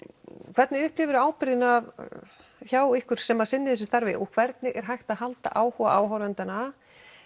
hvernig upplifir þú ábyrgðina hjá ykkur sem sinnið þessu starfi og hvernig er hægt að halda áhuga áhorfendanna